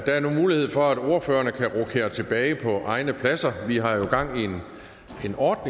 er nu mulighed for at ordføreren kan rokere tilbage på egne pladser vi har jo gang i en